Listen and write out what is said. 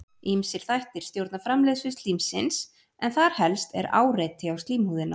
ýmsir þættir stjórna framleiðslu slímsins en þar helst er áreiti á slímhúðina